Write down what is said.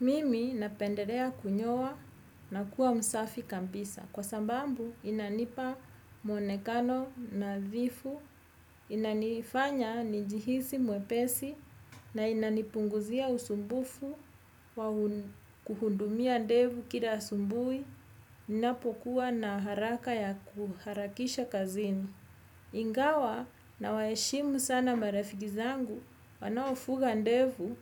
Mimi napendelea kunyoa na kuwa msafi kabisa kwa sababu inanipa mwonekano nadhifu, inanifanya nijihisi mwepesi na inanipunguzia usumbufu kuhudumia ndevu kila asubui, ninapokuwa na haraka ya kuharakisha kazini. Ingawa na waheshimu sana marafiki zangu wanaofuga ndevu